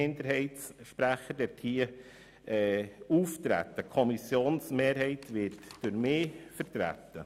Die Kommissionsmehrheit wird durch mich vertreten.